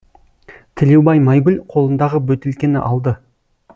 тілеубай майгүл қолындағы бөтелкені алды